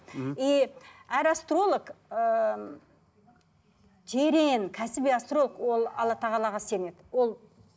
мхм и әр астролог ыыы терең кәсіби астролог ол алла тағалаға сенеді ол